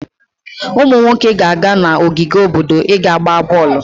Ụmụ nwoke ga-aga n'ogige obodo i ga-gbaa bọọlụ.